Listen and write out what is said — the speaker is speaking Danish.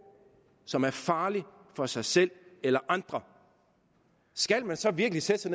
som er farlig for sig selv eller andre skal man så virkelig sætte sig